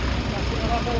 Bu yol çatmışdı.